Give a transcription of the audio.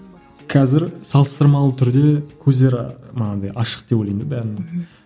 қазір салыстырмалы түрде көздері манағыдай ашық деп ойлаймын да бәрінің